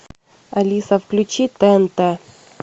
алиса включи тнт